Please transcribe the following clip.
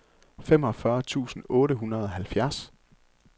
femogfyrre tusind otte hundrede og halvfjerds